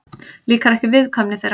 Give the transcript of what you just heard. Líkar ekki viðkvæmni þeirra.